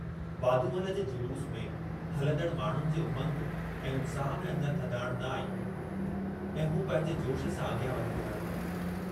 वाधूमल जुलूस में हलंदड़ माण्डुनि जे उमंग ऐं उत्साह में अञ थधाणि न आई हुई ऐं हू पंहिंजे जोश सां अॻियां वधी रहिया हुआ।